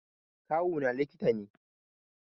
Kawuna likita ne